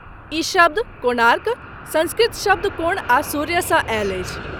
ई शब्द 'कोणार्क' संस्कृत शब्द कोण आ सूर्यसँ आयल अछि।